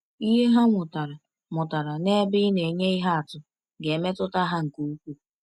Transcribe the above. Ihe ha mụtara mụtara n’ebe ị na-enye ihe atụ ga-emetụta ha nke ukwuu.